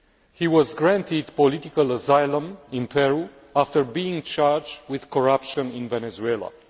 He was granted political asylum in Peru after being charged with corruption in Venezuela.